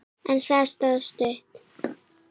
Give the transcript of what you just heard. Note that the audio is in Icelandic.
En það stóð stutt.